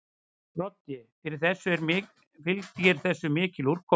Broddi: Fylgir þessu mikil úrkoma?